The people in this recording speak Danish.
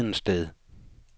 Hedensted